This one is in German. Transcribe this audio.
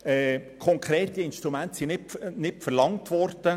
Konkrete Instrumente sind nicht verlangt worden.